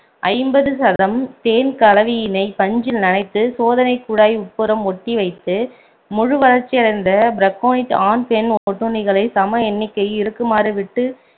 ஐம்பது சதம் தேன் கலவியினை பஞ்சில் நனைத்து சோதனை குழாய் உட்புறம் ஒட்டி வைத்து முழு வளர்ச்சி அடைந்த பிரக்கோனிட் ஆண், பெண் ஒட்டுண்ணியை சம எண்ணிக்கையில் இருக்குமாறு விட்டு